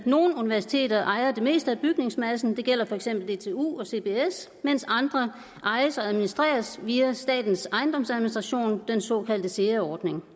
nogle universiteter ejer det meste af bygningsmassen det gælder for eksempel dtu og cbs mens andre ejes og administreres via statens ejendomsadministration den såkaldte sea ordning